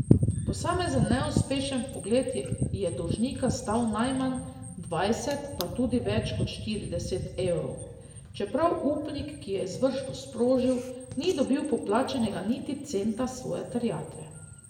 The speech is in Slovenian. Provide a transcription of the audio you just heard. Posamezen neuspešen vpogled je dolžnika stal najmanj dvajset, pa tudi več kot štirideset evrov, čeprav upnik, ki je izvršbo sprožil, ni dobil poplačanega niti centa svoje terjatve.